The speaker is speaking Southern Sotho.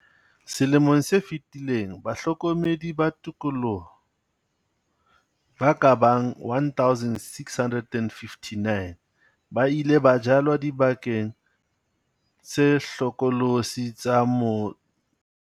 Selemong se fetileng bahlokomedi ba tikoloho ba ka bang 1 659, ba ile ba jalwa dibakeng tse hlokolosi tsa mo.